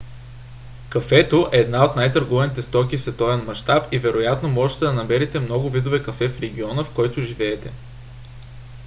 кафето е една от най-търгуваните стоки в световен мащаб и вероятно можете да намерите много видове кафе в региона в който живеете